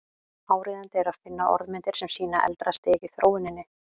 Áríðandi er að finna orðmyndir sem sýna eldra stig í þróuninni.